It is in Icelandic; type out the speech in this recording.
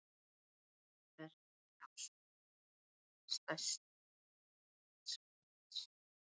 Verpir á Suðurey, stærstu eyju Nýja-Sjálands.